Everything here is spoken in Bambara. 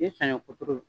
Ni saɲɔ kuturu